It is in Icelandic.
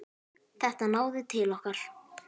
Þetta náði til okkar.